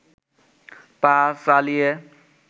পা চালিয়ে